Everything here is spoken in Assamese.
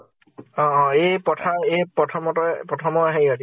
অ । এ পথাৰ এ পথম তৰে, প্ৰথম ৰ হেৰি অ দি ।